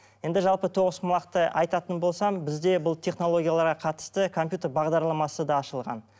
енді жалпы тоғызқұмалақты айтатын болсам бізде бұл технологияларға қатысты компьютер бағдарламасы да ашылған